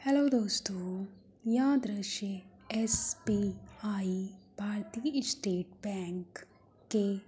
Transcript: hello दोस्तों यह दृश्य एसबीआई भारतीय स्टेट बैंक के --